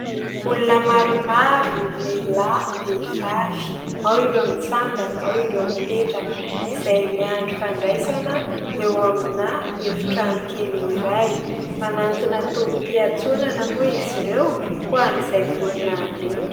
Olona maromaro : lehilahy, vehifavy. Ao ireo mitsangana, ao ireo mipetraka izay miandry fandraisana eo amina efitrano kely iray manantona tobi-piantsonana moa izy ireo ho an'izay vonona andeha.